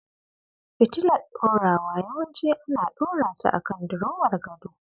Fitilar ɗorawa yawanci ana ɗorata akan dirowar gado.